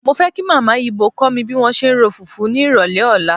Mo fẹ́ kí Màmá Ibò kó mi bí wọ́n ṣe ń ro fùfú ní ìrọ̀lẹ́ ọ̀la.